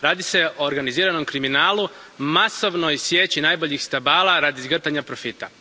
Radi se o organiziranom kriminalu, masovnoj sječi najboljih stabala radi zgrtanja profita.